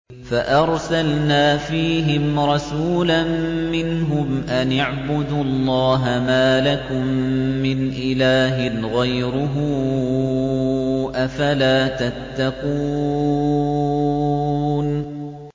فَأَرْسَلْنَا فِيهِمْ رَسُولًا مِّنْهُمْ أَنِ اعْبُدُوا اللَّهَ مَا لَكُم مِّنْ إِلَٰهٍ غَيْرُهُ ۖ أَفَلَا تَتَّقُونَ